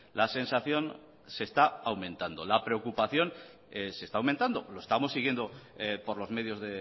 la sensación se está aumentando la preocupación se está aumentando lo estamos siguiendo por los medios